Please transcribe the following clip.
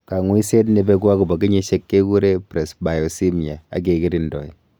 Kang'uiset nebeku akobo kenyisyiek kekuree presbyosmia akekirindoi